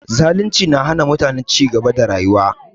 Zalunci na hana mutane cigaba da rayuwa